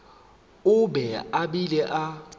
o be a bile a